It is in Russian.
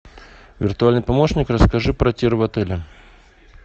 виртуальный помощник расскажи про тир в отеле